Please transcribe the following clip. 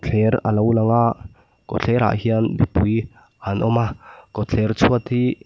thler alo langa kawtthlerah hian mipui an awma kawtthler chhuat hi--